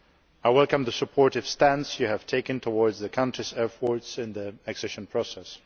I welcome the supportive stance you have taken towards the country's efforts in the accession process.